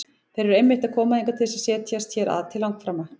Þeir eru einmitt að koma hingað til þess að setjast hér að til langframa!